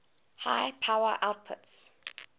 high power outputs